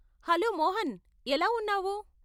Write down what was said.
Hello Mohan ఎలా ఉన్నావు?